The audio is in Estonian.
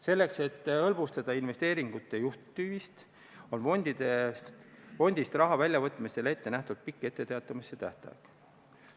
Selleks et hõlbustada investeeringute juhtimist, on fondist raha väljavõtmisel ette nähtud pikk etteteatamise tähtaeg.